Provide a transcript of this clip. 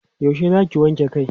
yaushe Zaki wanke Kai?